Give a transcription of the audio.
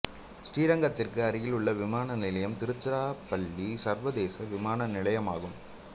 ஸ்ரீரங்கத்திற்கு அருகிலுள்ள விமான நிலையம் திருச்சிராப்பள்ளி சர்வதேச விமான நிலையம் ஆகும்